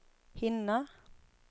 hinna